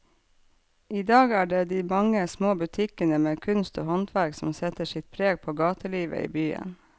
I dag er det de mange små butikkene med kunst og håndverk som setter sitt preg på gatelivet i byen.